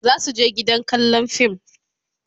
zasu je gidan kallan fim